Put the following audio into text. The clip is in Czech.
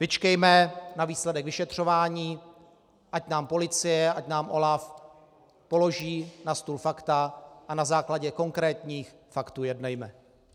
Vyčkejme na výsledek vyšetřování, ať nám policie, ať nám OLAF položí na stůl fakta, a na základě konkrétních faktů jednejme.